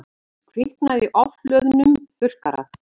Kviknaði í ofhlöðnum þurrkara